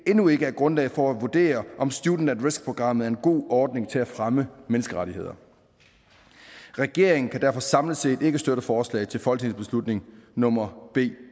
endnu ikke er grundlag for at vurdere om students at risk programmet er en god ordning til at fremme menneskerettigheder regeringen kan derfor samlet set ikke støtte forslag til folketingsbeslutning nummer b